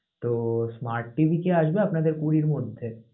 তো smart TV কি আসবে আপনাদের কুঁড়ির মধ্যে?